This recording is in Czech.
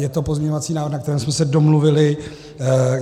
Je to pozměňovací návrh, na kterém jsme se domluvili.